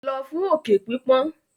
Lọ fún òkè pípọ́n.